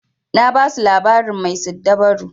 Na basu labarin mai siddabaru.